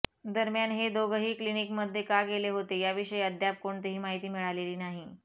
दरम्यान हे दोघंही क्लिनिकमध्ये का गेले होते याविषयी अद्याप कोणतीही माहिती मिळालेली नाही